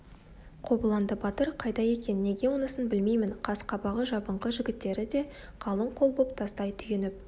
қобыланды батыр қайда екен неге онысын білмеймін қас-қабағы жабыңқы жігіттері де қалың қол боп тастай түйініп